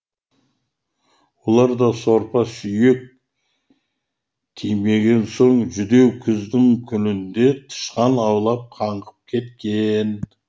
олар да сорпа сүйек тимеген соң жүдеу күздің күнінде тышқан аулап қаңғып кеткен